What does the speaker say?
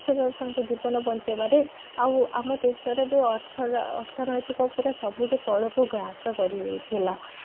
ତାଙ୍କ ଜୀବନ ବଞ୍ଚେଇବାରେ ଆଉ ଆମ ଦେଶର ବି ଅର୍ଥ ଅର୍ଥନୈତିକ ପରା ସବୁଠୁ ତଳକୁ ଘ୍ରାସ କରି ଯାଇଥିଲା